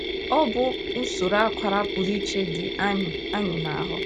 Ọ bụ usoro akwara pụrụ iche dị anyị anyị n’ahụ́.